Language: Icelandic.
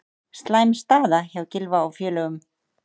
Slæm staða hjá Gylfa og félögum